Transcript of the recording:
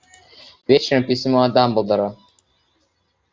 вечером письмо от дамблдора